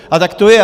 A tak to je.